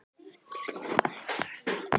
Unnbjörn, opnaðu dagatalið mitt.